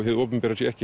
hið opinbera sé